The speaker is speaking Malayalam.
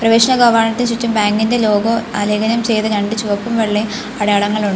പ്രവേശന കവാടത്തിനു ചുറ്റും ബാങ്ക് ഇന്റെ ലോഗോ ആലേഖനം ചെയ്ത രണ്ട് ചുവപ്പും വെള്ളയും അടയാളങ്ങളുണ്ട്.